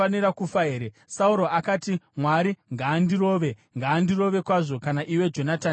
Sauro akati, “Mwari ngaandirove, ngaandirove kwazvo, kana iwe Jonatani ukasafa.”